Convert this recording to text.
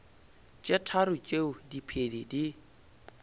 tše tharo tšeo diphedi di